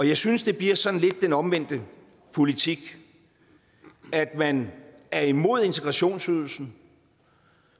jeg synes det bliver sådan lidt den omvendte politik at man er imod integrationsydelsen